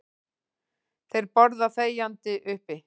Þeir borða þegjandi uppi.